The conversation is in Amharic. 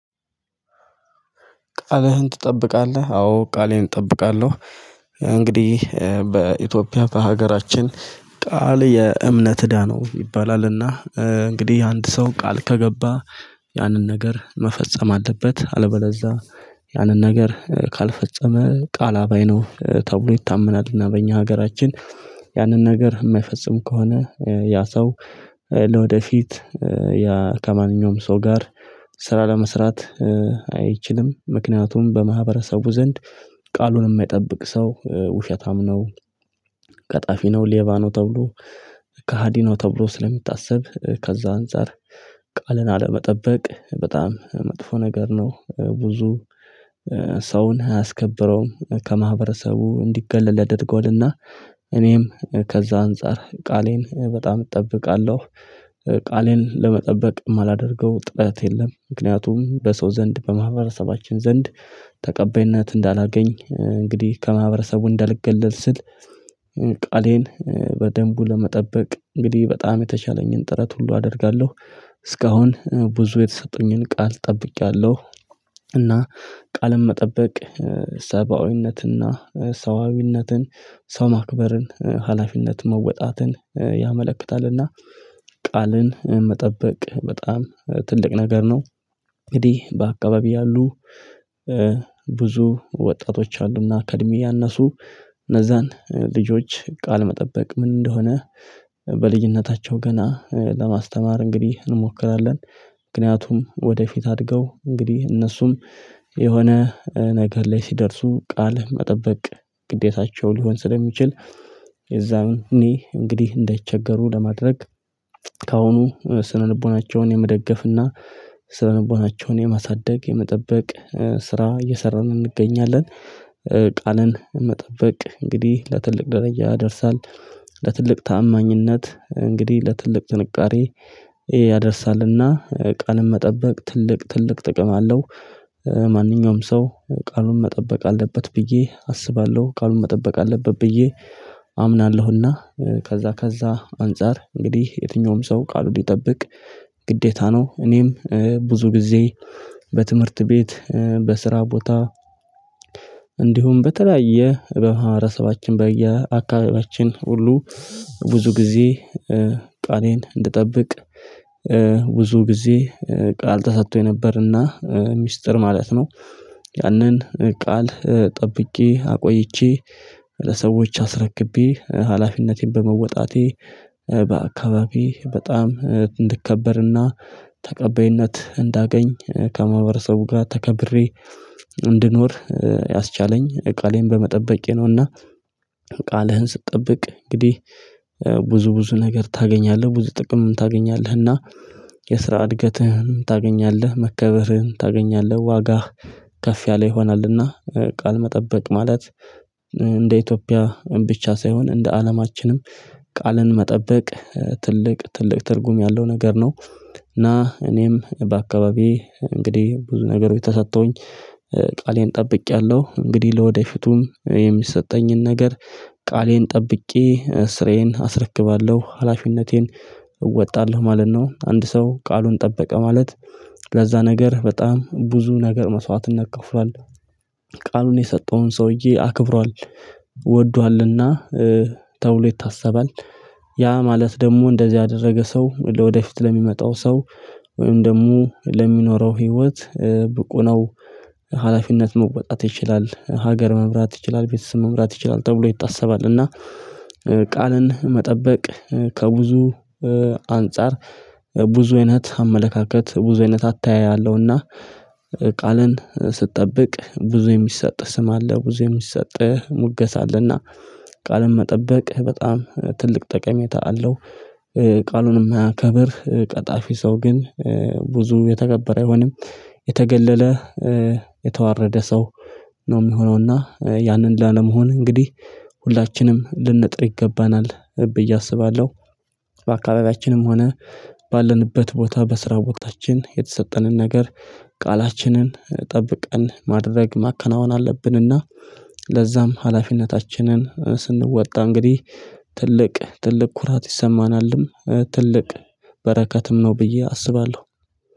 ቃልህን ትጠብቃለህ? አዎ ቃሌን እጠብቃለሁ። እንግዲህ በኢትዮጵያ በሀገራችን ቃል የእምነት እዳ ነው ይባላልና እንግዲህ አንድ ሰው ቃል ከገባ ያንን ነገር መፈጸም አለበት። አለበለዛ ያንን ነገር ካልፈጸመ ቃል አባይ ነው ተብሎ ይታመናል። እና በእኛ ሀገራችን ያንን ነገር የማይፈጽሙ ከሆነ ያ ሰው ለወደፊት ከማንኛውም ሰው ጋር ስራ ለመስራት አይችልም። ምክንያቱም በማህበረሰቡ ዘንድ ቃሉን የማይጠብቅ ሰው ውሸታም ነው። ቀጣፊ ነው ሌባ ነው ተብሎ ከሀዲ ነው ተብሎ ስለሚታሰብ። ከዛ አንፃር ቃልን አለመጠበቅ በጣም መጥፎ ነገር ነው። ብዙ ሰውን አያስከብረውም ከማህበረሰቡ እንዲገለል ያርገዋልና። እኔም ከዛ አንፃር ቃሌን በጣም እጠብቃለሁ። ቃሌን ለመጠበቅ የማላደርገው ጥረት የለም። ምክንያቱም በሰው ዘንድ በማህበረሰባችን ዘንድ ተቀባይነት እንዳላገኝ እንግዲህ ከማህበረሰቡ እንዳልገለል ስል ቃሌን በደንቡ ለመጠበቅ እንግዲህ በጣም የተሻለኝን ጥረት ሁሉ አደርጋለሁ። እስካሁን ብዙ የተሰጡኝን ቃል ጠብቄያለሁ። እና ቃልን መጠበቅ ሰብአዊነትና ሰዋዊነትን ሰው ማክበርን ሀላፊነት መወጣትን ያመለክታልና። ቃልን መጠበቅ በጣም ትልቅ ነገር ነው። እንግዲህ በአካባቢ ያሉ ብዙ ወጣቶች አሉና ከእድሜ ያነሱ እነዛን ልጆች ቃል መጠበቅ ምን እንደሆነ ብልጅንታችው ገና በማስተማር እንግዲህ እንሞክራለን። ምክንያቱም ወደፊት አድገው እንግዲህ እነሱም የሆነ ነገር ላይ ሲደርሱ ቃል መጠበቅ ግዴታቸው ሊሆን ስለሚችል የዛን ኔ እንግዲህ እንዳይቸገሩ ለማድረግ ከአሁኑ ስነ ልቦናቸውን የመደገፍና ስነ ልቦናቸውን የማሳደግ የመጠበቅ ስራ እየሰራን እንገኛለን። ቃልን መጠበቅ እንግዲህ ለትልቅ ደረጃ ያደርሳል። ለትልቅ ታማኝነት እንግዲህ ለትልቅ ጥንካሬ ያደርሳልና። ቃልን መጠበቅ ትልቅ ትልቅ ጥቅም አለው። ማንኛውም ሰው ቃሉን መጠበቅ አለበት ብዬ አስባለሁ ቃሉን መጠበቅ አለበት ብዬ አምናለሁና። ከዛ ከዛ አንፃር እንግዲህ የትኛውም ሰው ቃሉን ሊጠብቅ ግዴታ ነው። እኔም ብዙ ጊዜ በትምህርት ቤት በስራ ቦታ እንዲሁም በተለያየ በማህበረሰባችን በአካባቢያችን ሁሉ ብዙ ጊዜ ቃሌን እንድጠብቅ ብዙ ጊዜ ቃል ተሰቶኝ ነበርና ሚስጥር ማለት ነው። ያንን ቃል ጠብቄ አቆይቼ ለሰዎች አስረክቤ ሀላፊነቴን በመወጣቴ በአካባቢ በጣም እንድከበርና ተቀበይነት እንዳገኝ ከማህበረሰቡ ጋር ተከብሬ እንድኖር ያስቻለኝ ቃሌን በመጠበቄ ነውና። ቃልህን ስትጠብቅ እንግዲህ ብዙ ብዙ ነገር ታገኛለህ ብዙ ጥቅም ታገኛለህና። የስራ እድገትህን ታገኛለህ መከበርህን ታገኛለህ ዋጋህ ከፍ ያለ ይሆናልና። ቃል መጠበቅ ማለት እንደ ኢትዮጵያ ብቻ ሳይሆን እንደ አለማችንም ቃልን መጠበቅ ትልቅ ትልቅ ትልቅ ትርጉም ያለው ነገር ነው። እና እኔም በአካባቢዬ እንግዲህ ብዙ ነገሮይ ተሰተውኝ ቃሌን ጠብቄያለሁ። እንግዲህ ለወደፊቱም የሚሰጠኝን ነገር ቃሌን ጠብቄ ስራዬን አስረክባለሁ ሀላፊነቴን እወጣለሁ ማለት ነው። አንድ ሰው ቃሉን ጠበቀ ማለት ለዛ ነገር በጣም ብዙ ነገር መስዋዕትነት ከፍሏል። ቃሉን የሰጠውን ሰውዬ አክብሯል ወዷልና ተብሎ ይታሰባል። ያ ማለት ደግሞ እንደዚህ አደረገ ሰው ለወደፊት ለሚመጣው ሰው ወይም ደግሞ ለሚኖረው ህይወት ብቁ ነው። ሀላፊነት መወጣት ይችላል ሀገር መምራት ይችላል ቤተሰብ መምራት ይችላል ተብሎ ይታሰባል። እና ቃልን መጠበቅ ከብዙ አንፃር ብዙ አይነት አመለካከት ብዙ አይነት አተያይለሁና። ቃልን ስጠብቅ ብዙ የሚሰጥ ስም አለ ብዙ የሚሰጥህ ሙገሳ አለና። ቃልን መጠበቅ በጣም ትልቅ ጠቀሜታ አለው። ቃሉን እማያከብረ ቀጣፊ ሰው ግን ብዙም የተከበረ አይሆንም። የተገለለ የተዋረደ ሰው ነው የሚሆነውና ያንን ላለመሆን እንግዲህ ሁላችንም ልንጥር ይገባናል ብዬ አስባለሁ። በካባቢያችንም ሆነ ባለንበት ቦታ በስራ ቦታችን የተሰጠንን ነገር ቃላችንን ጠብቀን ማድረግ ማከናወን አለብንና። ለዛም ሀላፊነታችንን ስንወጣ እንግዲህ ትልቅ ትልቅ ኩራት ይሰማናልም ትልቅ በረከትም ነው ብዬ አስባለሁ።